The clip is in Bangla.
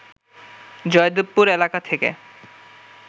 জয়দেবপুর এলাকা থেকে